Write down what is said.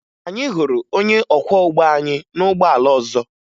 Anyị hụrụ onye ọkwọụgbọ anyị na ụgbọala ọzọ